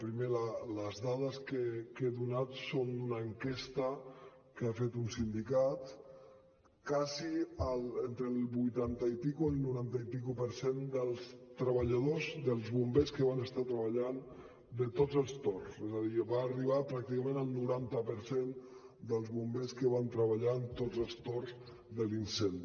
primer les dades que he donat són d’una enquesta que ha fet un sindicat d’entre el vuitanta i escaig i el noranta i escaig per cent dels treballadors dels bombers que van estar treballant de tots els torns és a dir va arribar pràcticament al noranta per cent dels bombers que van treballar en tots els torns de l’incendi